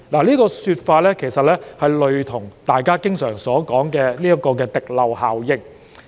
這說法其實類似大家經常提到的滴漏效應。